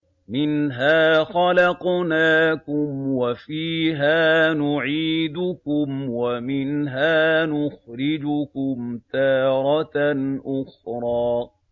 ۞ مِنْهَا خَلَقْنَاكُمْ وَفِيهَا نُعِيدُكُمْ وَمِنْهَا نُخْرِجُكُمْ تَارَةً أُخْرَىٰ